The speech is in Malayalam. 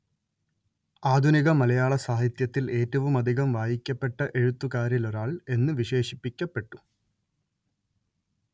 ആധുനിക മലയാള സാഹിത്യത്തിൽ ഏറ്റവുമധികം വായിക്കപ്പെട്ട എഴുത്തുകാരിലൊരാൾ എന്ന് വിശേഷിപ്പിക്കപ്പെട്ടു